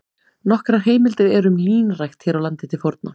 Nokkrar heimildir eru um línrækt hér á landi til forna.